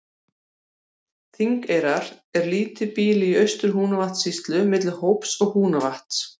Þingeyrar er býli í Austur-Húnavatnssýslu milli Hóps og Húnavatns.